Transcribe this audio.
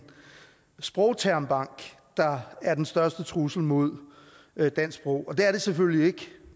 sprogtermbank der er den største trussel mod dansk sprog det er det selvfølgelig ikke